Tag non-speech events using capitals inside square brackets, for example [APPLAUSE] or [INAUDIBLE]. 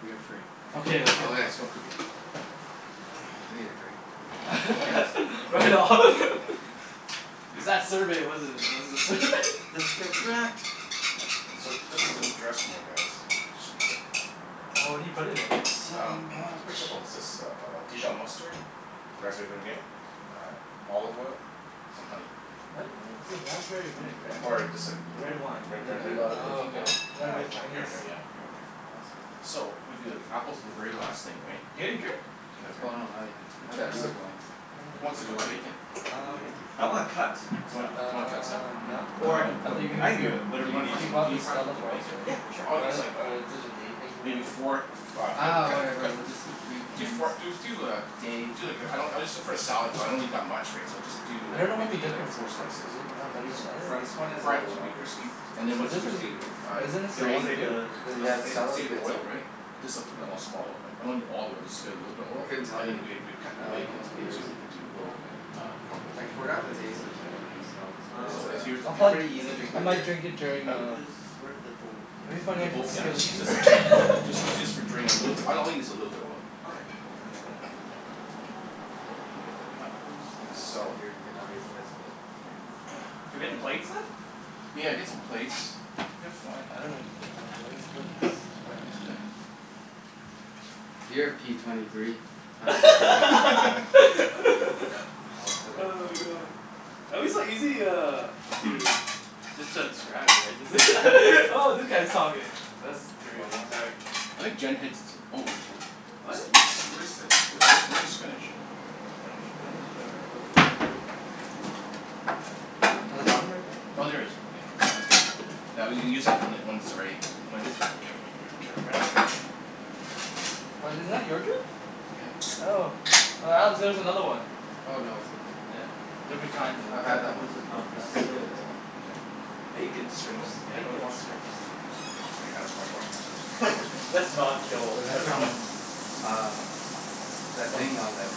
We are free. Okay. Let's go cook it. I need a drink. Yes. [LAUGHS] Right on. [LAUGHS] It's that survey, wasn't it? It was the sur- Let's [LAUGHS] get cracked. So, [INAUDIBLE] this is the dressing, I guess. This should be good. [NOISE] Oh, what do you put in It's it? so Um [NOISE] it's much. pretty simple. It's just uh dijon mustard, raspberry vinaigrette, uh olive oil, some honey. What? Is it [NOISE] raspberry vinaigrette? Or just like The red [NOISE] wine Re- Do red wine you do a lot [NOISE] of Oh, vinaigrette. cooking, Don? okay. Uh, Very here Chinese. and there, yeah. Here and there. That's good. So, I'm gonna do, like, apples are the very last thing, right? Yeah, you drink? Oh, Okay. no. Not yet. I thought you were going to. Who wants What to do you cook want? bacon? What are you Um, drinking? You I wanna wanna cut cook, stuff Uh like You wanna cut stuff? Yeah. not now. Or I can I cook thought it. you're I gonna can get do you it. Do Whatever you you wanna need fry He some, me bought can the fry up Stella some for us, bacon? right? Yeah. For sure. All you need Or is the, like or did the day thing, Maybe whatever. four of uh Uh, cut whatever cut we'll just drink Do Kim's four do do uh day. Do like a, I don't, it's just for a salad, so I don't need that much, right. So just do I like, don't know what the maybe like difference four is. slices. Is it Four one better than slices? the [NOISE] other? Fry it This one is fry one of it the to be lagers. crispy. And But this then once is, crispy, uh but isn't Do this you want some me to drain other save the, dude? do you want me Yeah, to s- save it? s- salad's save the good too. oil, right. Okay. Just uh, put it in a small. I'm not a need all the oil. Just add a little bit of I oil. couldn't tell And you. then we we'd cut the I like bacon most beers. into, into little Oh okay. uh crumbles, I right. forgot the Okay. That's taste cool. of I got that. of Stella's. But Um. So it's it's, here's the pan. um pretty And easy then I where drinking does might beer. drink during where uh, does, where're the bowls? I guess it'd be I'll funny The use if I'd one. bowl, yeah, steal just a use k- this for, just [LAUGHS] need to use for drain, a little bit. All I need is a little bit of oil. Okay. Cool. I can do that. [NOISE] Yeah, cool. And then get the Just apples. gonna sit Salt here and get out of your guys' way. Okay. [NOISE] Can we get the plates then? Yeah. Get some plates. Yeah, it's fine, I I don't dunno know, [NOISE] uh where are his plates? Oh yeah. Here, P twenty three. [INAUDIBLE] I'll [LAUGHS] [NOISE] put it Oh my over god! there. I'm just like easy uh, to just transcribe, right? [LAUGHS] Oh, that guy's talking. That's three One more. almost. All right. I think Jen hits, oh sh- This What? do- where's this where's this, where's the spinach? Spinach? I'm not sure. In the bottom right there? Oh, there it is. Okay. That's good. Now, we'll use when that when it's ready, or I guess, [NOISE] Get around there Was it not your drink? Yeah. Oh. Oh, Alex, there's another one. Oh, no. It's okay. Yeah. Different kind I've though. had that This one is before. not It's pretty good as resealable. well. Okay. Bacon What strips. [NOISE] yeah. Bacon strips. Clean your hands. Wash wash your hands first. [LAUGHS] Let's not Well kill that's from everyone. um that thing on that